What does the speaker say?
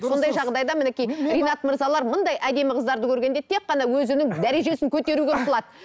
сондай жағдайда мінекей ринат мырзалар әдемі қыздарды көргенде тек қана өзінің дәрежесін көтеруге ұмтылады